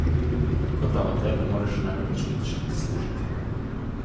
Kot amater ne moreš namreč nič zaslužiti.